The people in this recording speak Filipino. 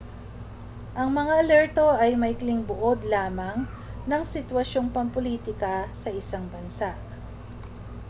ang mga alerto ay maikling buod lamang ng sitwasyong pampulitika sa isang bansa